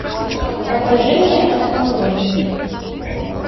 покажи мне отмороженные